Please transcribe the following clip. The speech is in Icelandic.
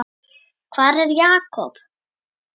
Hvar er Jakob?